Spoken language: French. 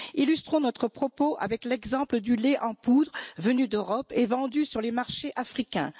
Illustrons notre propos avec l'exemple du lait en poudre venu d'Europe et vendu sur les marchés africains.